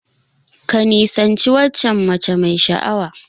Ka nisanci waccan mace mai sha'awa.